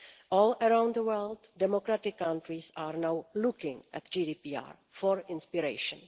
All around the world, democratic countries are now looking at GDPR for inspiration.